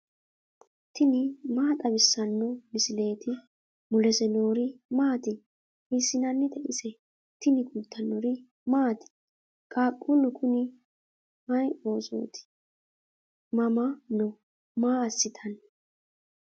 tini maa xawissanno misileeti ? mulese noori maati ? hiissinannite ise ? tini kultannori maati? qaaqullu Kuni may oosotti? mama noo? maa asittanni?